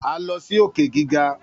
A lọ si òkè gíga.